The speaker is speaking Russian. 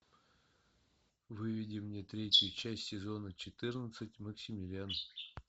выведи мне третью часть сезона четырнадцать максимилиан